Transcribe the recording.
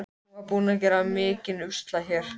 Hann var búinn að gera mikinn usla hérna.